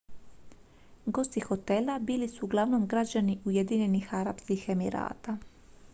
gosti hotela bili su uglavnom građani ujedinjenih arapskih emirata